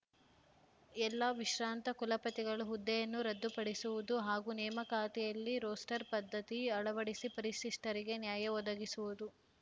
ಎಲ್ಲಾ ವಿಶ್ರಾಂತ ಕುಲಪತಿಗಳ ಹುದ್ದೆಯನ್ನು ರದ್ದು ಪಡಿಸುವುದು ಹಾಗೂ ನೇಮಕಾತಿಯಲ್ಲಿ ರೋಸ್ಟರ್ ಪದ್ಧತಿ ಅಳವಡಿಸಿ ಪರಿಶಿಷ್ಟರಿಗೆ ನ್ಯಾಯ ಒದಗಿಸುವುದು